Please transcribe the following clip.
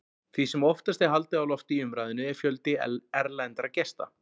Því sem oftast er haldið á lofti í umræðunni er fjöldi erlendra gesta.